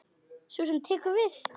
Sú sem tekur við.